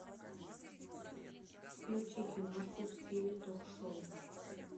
включи киношку в стиле ток шоу